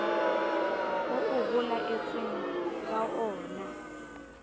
oo ho laetsweng ka oona